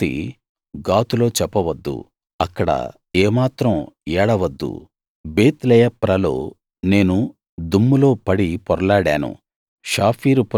ఈ సంగతి గాతులో చెప్పవద్దు అక్కడ ఏమాత్రం ఏడవద్దు బేత్ లెయప్రలో నేను దుమ్ములో పడి పొర్లాడాను